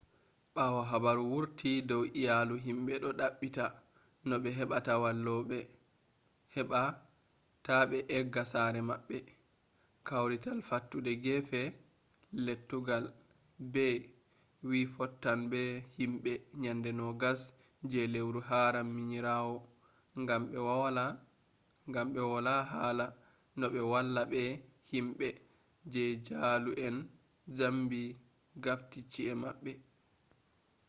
ɓawo habaru wurti dow iyalu himɓe ɗo ɗaɓɓita no ɓe heɓata walloɓe heɓa ta ɓe egga sare maɓɓe kwarital fattude gefe lettugal bey wi fottan be himɓe nyande 20 je lewru haram minirawo gam ɓe wola hala no ɓe walla be himɓe je jaalu en zambi gafti chi’e maɓɓe